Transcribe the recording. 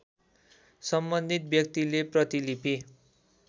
सम्बन्धित व्यतिले प्रतिलिपि